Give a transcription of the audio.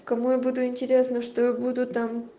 кому я буду интересно что я буду там